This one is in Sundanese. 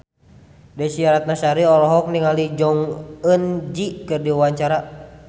Desy Ratnasari olohok ningali Jong Eun Ji keur diwawancara